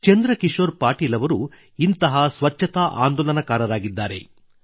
ಚಂದ್ರ ಕಿಶೋರ್ ಪಾಟೀಲ್ ಅವರು ಇಂಥ ಸ್ವಚ್ಛತಾ ಆಂದೋಲನಕಾರರಾಗಿದ್ದಾರೆ